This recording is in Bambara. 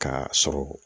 K'a sɔrɔ